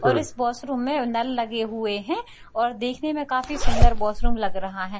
और इस वाशरूम में नल लगे हुए हैं और देखने में काफी सुंदर वाशरूम लग रहा है।